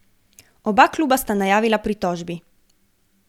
Oba kluba sta najavila pritožbi.